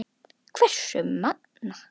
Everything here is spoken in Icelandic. Hversu magnað!